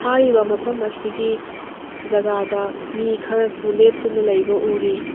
ꯃꯐꯝ ꯑꯁꯤꯒꯤ ꯖꯒꯥꯗ ꯃꯤ ꯈꯌꯁꯨ ꯂꯦꯞꯇꯨꯅ ꯂꯩꯕ ꯎꯔꯤ꯫